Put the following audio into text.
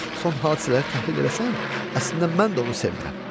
Son hadisələri təhlil eləsən, əslində mən də onu sevmirəm.